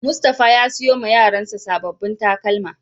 Mustapha ya siyo ma Yaran sa sabobin takalma.